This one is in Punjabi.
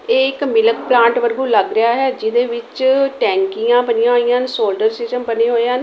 ਇਹ ਇਕ ਮਿਲਕ ਪਲਾਂਟ ਵਾਂਗੂ ਲੱਗ ਰਿਹਾ ਹੈ ਜਿਹਦੇ ਵਿੱਚ ਟੈਂਕੀਆਂ ਬਣੀਆਂ ਹੋਈਆਂ ਹਨ ਸੋਲਡਰ ਸਿਸਟਮ ਬਣੇ ਹੋਏ ਹਨ।